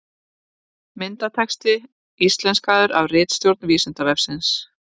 Myndatexti íslenskaður af ritstjórn Vísindavefsins.